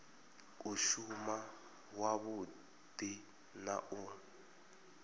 u shuma wavhudi na u